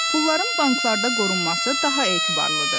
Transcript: Pulların banklarda qorunması daha etibarlıdır.